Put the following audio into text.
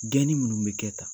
Deli minnu bɛ kɛ tan